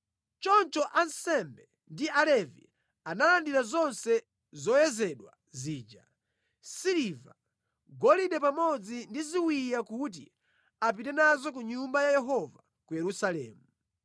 Choncho ansembe ndi Alevi analandira zonse zoyezedwa zija, siliva, golide pamodzi ndi ziwiya kuti apite nazo ku Nyumba ya Yehova ku Yerusalemu.